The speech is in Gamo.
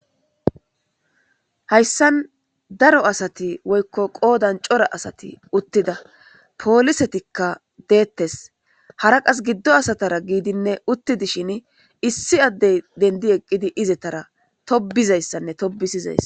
Hayssan daro asati woykko qoodan cora asati uttida polisetikka deettes. Hara qasse giddo asatara giidinne uttidashin issi addey denddi eqqidi izatara tobiza issanne tobisizays.